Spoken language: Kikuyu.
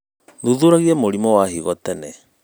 Thuthuragia mũrimũ wa higo tene.